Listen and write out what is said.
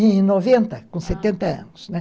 noventa, com setenta anos, né.